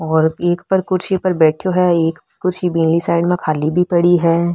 और एक पर कुर्सी पर बैठो है एक कुर्सी बिली साइड में खाली भी पड़ी है।